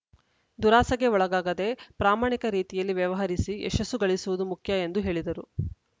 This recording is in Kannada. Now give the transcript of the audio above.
ದುರಾಸೆಗೆ ಒಳಗಾಗದೆ ಪ್ರಾಮಾಣಿಕ ರೀತಿಯಲ್ಲಿ ವ್ಯವಹರಿಸಿ ಯಶಸ್ಸು ಗಳಿಸುವುದು ಮುಖ್ಯ ಎಂದು ಹೇಳಿದರು